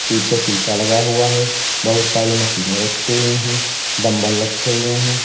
पीछे शीशा लगा हुआ है बहुत सारी मशीनें रखी हुई है डंबल रखे हुए हैं।